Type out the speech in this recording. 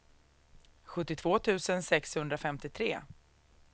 sjuttiotvå tusen sexhundrafemtiotre